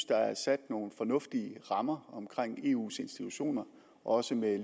der er sat nogle fornuftige rammer omkring eus institutioner også med